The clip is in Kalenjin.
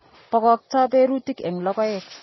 Bokokto berutik en logoek.